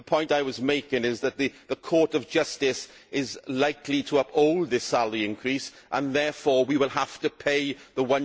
The point I was making is that the Court of Justice is likely to uphold this salary increase and therefore we will have to pay the